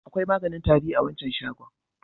Akwai maganin tari a wancan shagon.